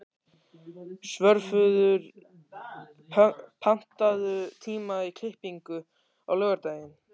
Svörfuður, pantaðu tíma í klippingu á laugardaginn.